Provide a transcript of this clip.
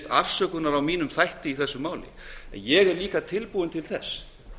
afsökunar á mínum þætti í þessu máli en ég er líka tilbúinn til þess